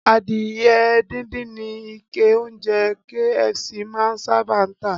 Adìyẹ díndín ni ikẹ oúnjẹ KFC máa ń sábà tà